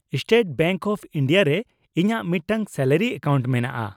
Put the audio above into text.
-State bank of India ᱨᱮ ᱤᱧᱟᱹᱜ ᱢᱤᱫᱴᱟᱝ ᱥᱮᱞᱟᱨᱤ ᱮᱠᱟᱣᱩᱱᱴ ᱢᱮᱱᱟᱜᱼᱟ ᱾